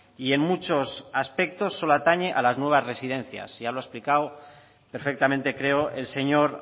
y en muchos aspectos solo atañe a las nuevas residencias ya lo he explicado perfectamente creo el señor